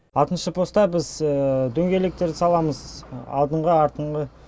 алтыншы постта біз дөңгелектерді саламыз алдыңғы артыңғы